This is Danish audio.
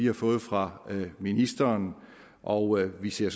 har fået fra ministeren og vi ser